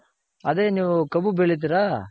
ಅದೆ ನೀವು ಕಬ್ಬು ಬೆಳಿತಿರ.